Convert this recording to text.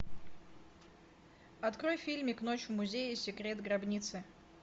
открой фильмик ночь в музее секрет гробницы